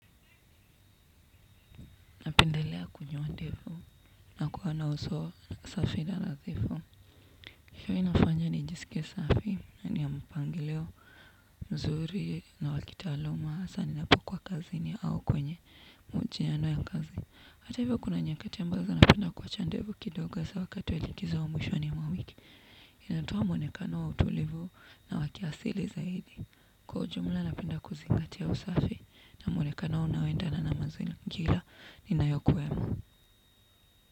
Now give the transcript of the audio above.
Napendelea kunyoa ndevu na kuwa na uso safi na nadhifu. Hiyo inafanya nijisikie safi na ni ya mpangilio mzuri na wa kitaaluma hasa ninapokuwa kazini au kwenye mchiyano ya kazi. Hata hivyo kuna nyakati ambazo napenda kuwacha ndevu kidoga hasa wakati wa likizo wa mwishoni mwa wiki. Inatoa mwonekano wa utulivu na wa kiasili zaidi. Kwa ujumla napenda kuzingati usafi na muonekano unaoendana na mazingira ninayokuwa.